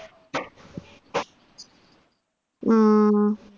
മ ആ